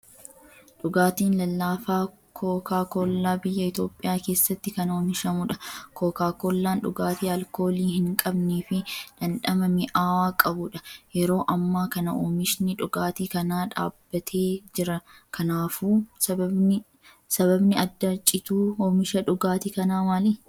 Dhugaatiin lallaafaa kooka koollaa biyya Itoophiyaa keessatti kan oomishamudha. Kooka koollaan dhugaatii alkoolii hin qabnee fi dhandhama mi'aawaa qabudha. yeroo ammaa kana Oomishni dhugaatii kanaa dhaabbatee jira, kanaafuu sababni adda cituu oomisha dhugaatii kanaa maali?